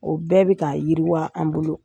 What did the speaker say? O bɛɛ bɛ ka yiriwa an bolo.